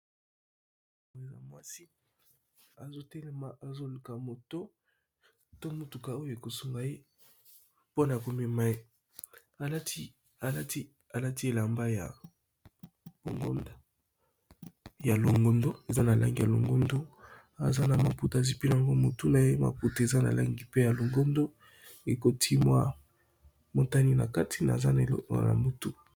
Mwasi azo telema, azo luka moto, to motuka oyo eko sunga ye mpona ko mema ye. Alati, alati elamba ya longondo, eza na langi ya longondo. Aza na maputa azipi nango motu na ye. Maputa, eza na langi pe ya longondo ; ekoti mwa motani. Na kati, na aza na eloko na motu.